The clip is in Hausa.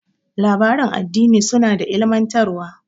Labaran addini suna da ilmantarwa.